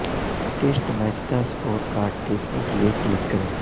test match کا score card دیکھنے کے لیے کلک کریں